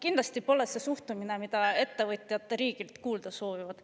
Kindlasti pole see suhtumine, mida ettevõtjad riigilt soovivad.